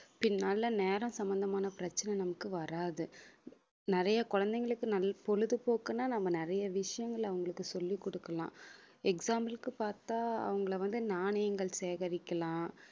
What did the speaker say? பின்னால நேர சம்மந்தமான பிரச்சனை நமக்கு வராது நிறைய குழந்தைகளுக்கு நல்~ பொழுதுபோக்குன்னா நம்ம நிறைய விஷயங்களை அவங்களுக்கு சொல்லிக் கொடுக்கலாம் example க்கு பாத்தா அவங்களை வந்து நாணயங்கள் சேகரிக்கலாம்